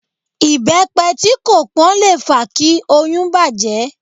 Ìbẹ́pe tí kò pón le fa kí oyún bàjẹ́.